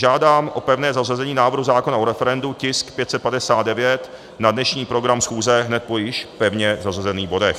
Žádám o pevné zařazení návrhu zákona o referendu, tisk 559, na dnešní program schůze hned po již pevně zařazených bodech.